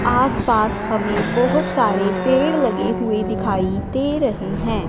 आसपास हमें बहोत सारे पेड़ लगे हुए दिखाई दे रहे हैं।